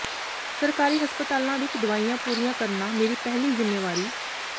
ਸਰਕਾਰੀ ਹਸਪਤਾਲਾਂ ਵਿੱਚ ਦਵਾਈਆਂ ਪੂਰੀਆਂ ਕਰਨਾ ਮੇਰੀ ਪਹਿਲੀ ਜ਼ਿੰਮੇਵਾਰੀ